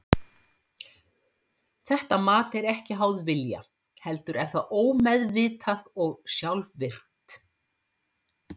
Þetta mat er ekki háð vilja heldur er það ómeðvitað og sjálfvirkt.